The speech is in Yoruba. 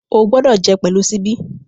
O gbọdọ jẹ pẹlu ṣíbí!